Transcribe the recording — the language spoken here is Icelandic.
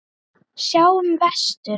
Sjáum vestur.